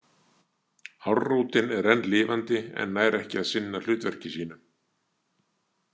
Hárrótin er enn lifandi en nær ekki að sinna hlutverki sínu.